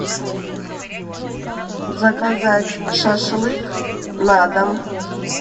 заказать шашлык на дом